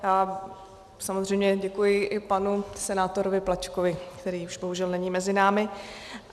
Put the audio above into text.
Samozřejmě děkuji i panu senátorovi Plačkovi, který už bohužel není mezi námi.